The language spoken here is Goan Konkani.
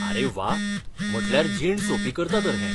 आरे व्वा, म्हटल्यार जीण सोंपी करता तर हें.